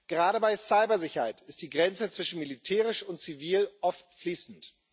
Gerade bei Cybersicherheit ist die Grenze zwischen militärisch und zivil oft fließend.